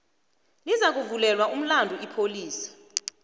lizakuvulelwa umlandu ipholisa